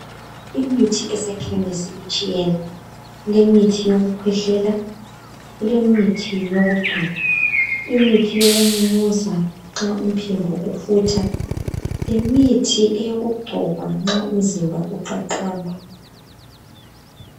Imithi esekhemisi itshiyene kulemitshi yokukhwehlela kulemithi yokungcoba imithi yokumumuza nxa umphimbo ufutha lemithi yokungcoba nxa umzimba ucacamba